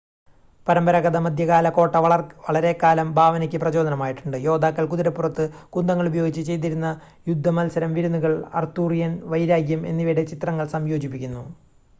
പരമ്പരാഗത മധ്യകാല കോട്ട വളരെക്കാലം ഭാവനയ്ക്ക് പ്രചോദനമായിട്ടുണ്ട് യോദ്ധാക്കള്‍ കുതിരപ്പുറത്ത് കുന്തങ്ങള്‍ ഉപയോഗിച്ച് ചെയ്തിരുന്ന യുദ്ധമത്സരം വിരുന്നുകൾ അർത്തുറിയൻ വൈരാഗ്യം എന്നിവയുടെ ചിത്രങ്ങൾ സംയോജിപ്പിക്കുന്നു